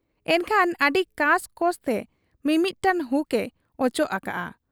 ᱮᱱᱠᱷᱟᱱ ᱟᱹᱰᱤ ᱠᱟᱸᱥ ᱠᱚᱸᱥ ᱛᱮ ᱢᱤᱢᱤᱫᱴᱟᱹᱝ ᱦᱩᱠ ᱮ ᱚᱪᱚᱜ ᱟᱠᱟᱜ ᱟ ᱾